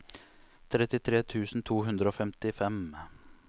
trettitre tusen to hundre og femtifem